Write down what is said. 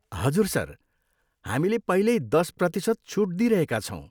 हजुर, सर। हामीले पहिल्यै दस प्रतिशत छुट दिइरहेका छौँ।